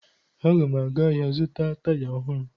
Aga m aga ahịa zụta taya ohụrụ